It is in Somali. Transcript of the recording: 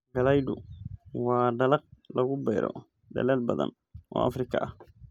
Galaydu waa dalag lagu beero dalal badan oo Afrika ah.